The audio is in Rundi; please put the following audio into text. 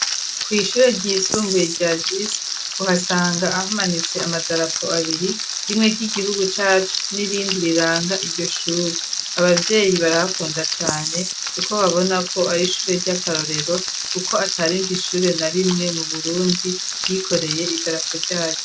Kw'ishuryisumbuye rya JISI, uhasanga ahamanitse amadarapo abiri, rimwe ry'igihugu cacu n'irindi riranga iryo shure, ababyeyi barahakunda cane kuko babona ko ar'ishure ry'akarorero, kuko atarindi ishure na rimwe mu burundi ryikoreye idarapo ryayo.